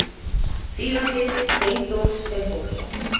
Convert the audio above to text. Þýðandi Steindór Steindórsson.